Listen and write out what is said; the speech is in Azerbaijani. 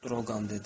Droqan dedi.